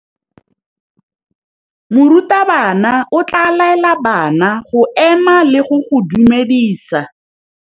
Morutabana o tla laela bana go ema le go go dumedisa.